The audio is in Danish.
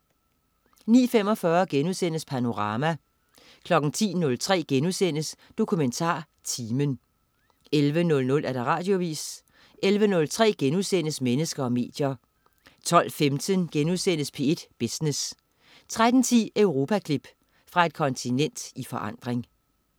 09.45 Panorama* 10.03 DokumentarTimen* 11.00 Radioavis 11.03 Mennesker og medier* 12.15 P1 Business* 13.10 Europaklip. Fra et kontinent i forandring